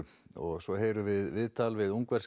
svo heyrum við viðtal við ungverska